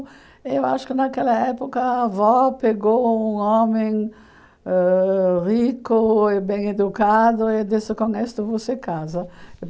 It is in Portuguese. Eu acho que naquela época a avó pegou um homem ãh rico e bem educado e disse, com isto você casa.